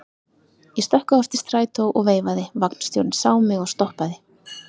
Ég stökk á eftir strætó og veifaði, vagnstjórinn sá mig og stoppaði.